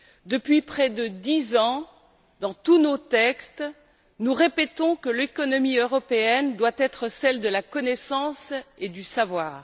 Depuis près de dix ans, dans tous nos textes, nous répétons que l'économie européenne doit être celle de la connaissance et du savoir.